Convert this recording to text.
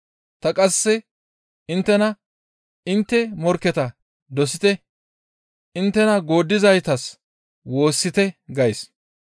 Ta qasse inttena intte morkketa dosite; inttena gooddizaytas woossite gays.